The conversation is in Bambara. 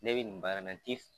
Ne bɛ nin baara in na n ti